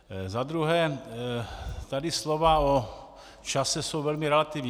Za druhé, tady slova o čase jsou velmi relativní.